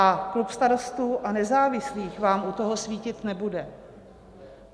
A klub Starostů a nezávislých vám u toho svítit nebude.